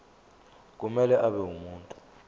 kumele abe ngumuntu